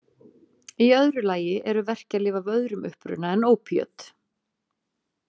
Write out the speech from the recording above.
Í öðru lagi eru verkjalyf af öðrum uppruna en ópíöt.